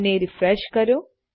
અને રીફ્રેશ કરો